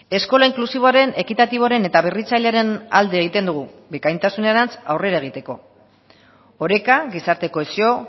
eskola inklusiboaren ekitatiboaren eta berritzailearen alde egiten dugu bikaintasunerantz aurrera egiteko oreka gizarte kohesio